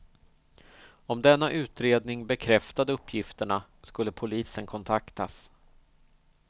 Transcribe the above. Om denna utredning bekräftade uppgifterna skulle polisen kontaktas.